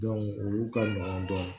olu ka ɲɔgɔn dɔn